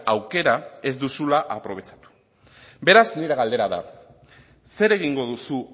aukera ez duzula aprobetxatu beraz nire galdera da zer egingo duzu